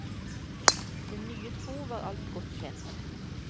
Den nye tro var alt godt kjent.